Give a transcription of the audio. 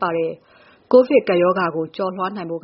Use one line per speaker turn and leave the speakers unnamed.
ပါတယျ။ ကိုဗစ်ကပ်ရောဂါကို ကျော်လွှားနိုင်ဖို့